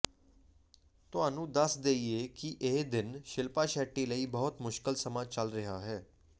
ਤੁਹਾਨੂੰ ਦੱਸ ਦੇਈਏ ਕਿ ਇਹ ਦਿਨ ਸ਼ਿਲਪਾ ਸ਼ੈੱਟੀ ਲਈ ਬਹੁਤ ਮੁਸ਼ਕਲ ਸਮਾਂ ਚੱਲ ਰਿਹਾ ਹੈ